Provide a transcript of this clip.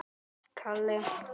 Sleikir það af.